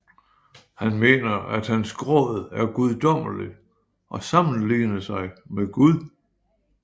Han mener at hans gråd er guddommelig og sammenligner sig med gud